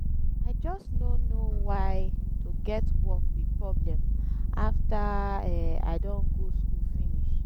i just no know why to get work be problem after um i don go school finish